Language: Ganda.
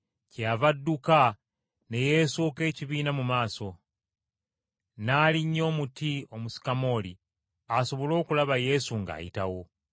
Kyeyava adduka ne yeesooka ekibiina mu maaso, n’alinnya omuti omusukamooli asobole okulaba Yesu ng’ayitawo.